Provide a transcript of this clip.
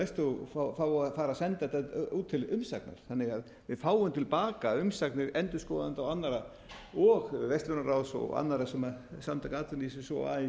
og jafnvel umræðulaust og fái að fara að senda þetta út til umsagnar þannig að við fáum til baka umsagnir endurskoðenda og annarra og verslunarráðs og annarra samtaka atvinnulífsins og así og